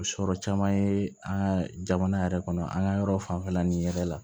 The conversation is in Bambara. Sɔrɔ caman ye an ka jamana yɛrɛ kɔnɔ an ka yɔrɔ fanfɛla nin yɛrɛ la